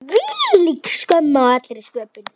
Hvílík skömm á allri sköpun.